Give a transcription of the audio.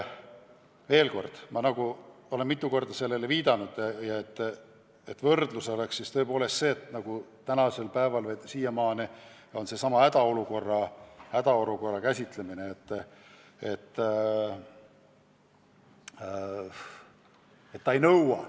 Veel kord: ma olen mitu korda viidanud, et regulatsiooni võiks võrrelda hädaolukorra lahendamise reeglistikuga.